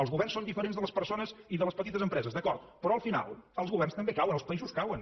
els governs són diferents de les persones i de les petites empreses d’acord però al final els governs també cauen els països cauen